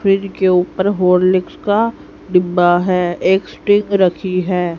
Fridge के ऊपर Horlicks का डिब्बा है एक स्टिंग रखी है।